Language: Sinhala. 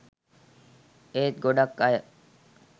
ඒත් ගොඩක් අය